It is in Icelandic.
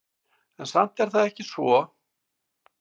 En samt er það ekki svo.